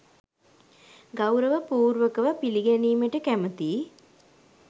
ගෞරව පූර්වකව පිළිගැනීමට කැමැතියි.